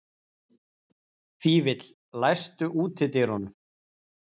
Fífill, læstu útidyrunum.